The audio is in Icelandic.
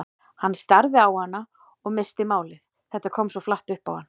Hann starði á hana og missti málið, þetta kom svo flatt upp á hann.